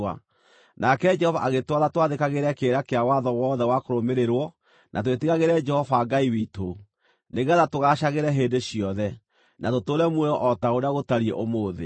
Nake Jehova agĩtwatha twathĩkagĩre kĩrĩra kĩa watho wothe wa kũrũmĩrĩrwo, na twĩtigagĩre Jehova Ngai witũ, nĩgeetha tũgaacagĩre hĩndĩ ciothe, na tũtũũre muoyo o ta ũrĩa gũtariĩ ũmũthĩ.